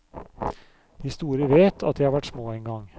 De store vet at de har vært små engang.